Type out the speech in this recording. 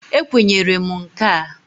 Ekwenyere m nka a.